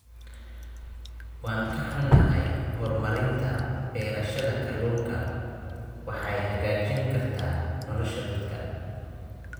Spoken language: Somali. Waan ka xunnahay, horumarinta beerashada kalluunka waxay hagaajin kartaa nolosha dadka.